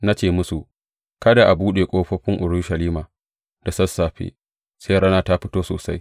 Na ce musu, Kada a buɗe ƙofofin Urushalima da sassafe sai rana ta fito sosai.